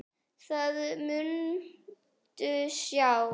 Það muntu sjá.